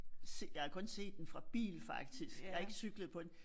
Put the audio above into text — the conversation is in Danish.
Jeg har kun set den fra bil faktisk jeg har ikke cyklet på den